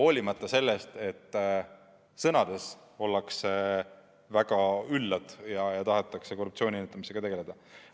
Vaid sõnades ollakse väga üllad ja tahetakse korruptsiooni ennetamisega tegeleda.